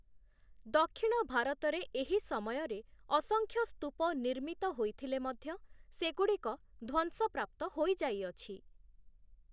ଦକ୍ଷିଣ ଭାରତରେ ଏହି ସମୟରେ ଅସଂଖ୍ୟ ସ୍ତୂପ ନିର୍ମିତ ହୋଇଥିଲେ ମଧ୍ୟ, ସେଗୁଡ଼ିକ ଧ୍ଵସଂପ୍ରାପ୍ତ ହୋଇଯାଇଅଛି ।